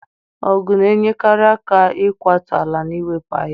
Ogu na-enyere aka n'ịkwatu ala na iwepụ ahịhịa.